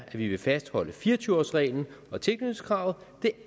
at vi ville fastholde fire og tyve års reglen og tilknytningskravet det